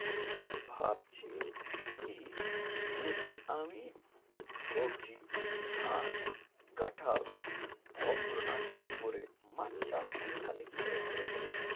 কিন্তু আমি ভাবছি কি যদি আমি সবজি ধান কাঁঠাল ফলগুলো না চাষ করে মাছ চাষ করি তালে কি করে হবে বোলো তো